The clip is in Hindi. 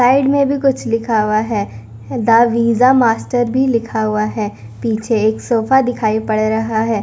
साइड में भी कुछ लिखा हुआ है द वीसा मास्टर भी लिखा हुआ है पीछे एक सोफा दिखाई पड़ रहा है।